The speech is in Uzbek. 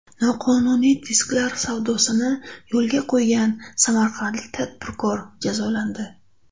Noqonuniy disklar savdosini yo‘lga qo‘ygan samarqandlik tadbirkor jazolandi.